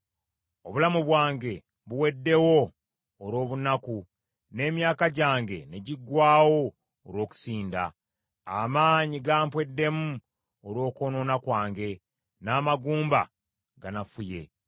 Obulamu bwange buweddewo olw’obunaku n’emyaka gyange ne giggwaawo olw’okusinda. Amaanyi gampweddemu olw’okwonoona kwange, n’amagumba ganafuye.